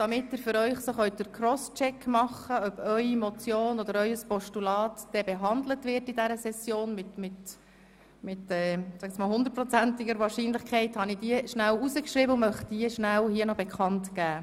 Damit Sie abschätzen können, ob Ihre Motion oder Ihr Postulat während dieser Session mit 100-prozentiger Wahrscheinlichkeit behandelt wird, möchte ich diese hier kurz bekannt geben.